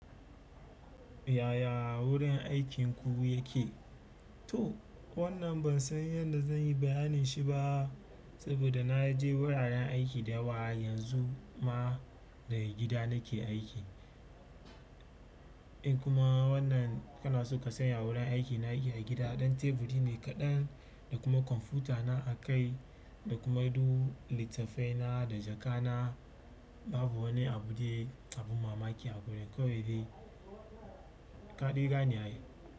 Yaya wurin aikinku yake? To wannan ban san yadda zan yi bayanin shi ba, saboda na je wuraren aiki da yawa yanzu ma daga gida nake aiki. In kuma wannan kana son kasanya wurin aiki, na aiki a gida. Ɗan teburi ne kaɗan da kuma kwamfutana a kai da kuma duk littafaina da jaka na. Babu wani abu dai abun mamaki a gurin. Kawai dai kaɗe gane ai.